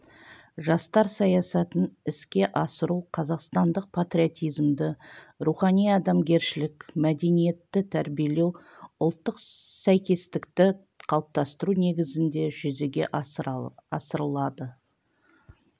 жастар саясатын іске асыру қазақстандық патриотизмді рухани-адамгершілік мәдениетті тәрбиелеу ұлттық сәйкестікті қалыптастыру негізінде жүзеге асырылады